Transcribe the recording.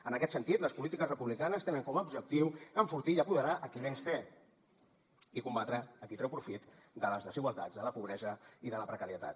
en aquest sentit les polítiques republicanes tenen com a objectiu enfortir i apoderar a qui menys té i combatre a qui treu profit de les desigualtats de la pobresa i de la precarietat